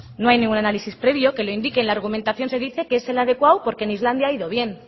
no hay ningún análisis previo que lo indique en la argumentación se dice que es el adecuado porque en islandia ha ido bien